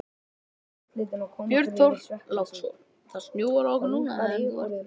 Björn Þorláksson: Það snjóar á okkur núna en þú ert vel varin?